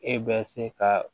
E bɛ se ka